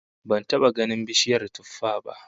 Ban taba ganin bishiyar tuffah ba